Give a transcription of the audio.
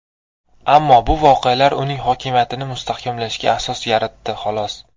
Ammo bu voqealar uning hokimiyatini mustahkamlashga asos yaratdi xolos.